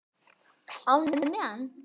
Breki: Ánægður með hann?